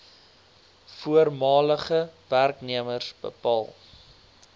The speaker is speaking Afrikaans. voormalige werknemers bepaal